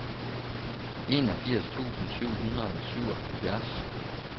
enogfirs tusind syv hundrede og syvoghalvfjerds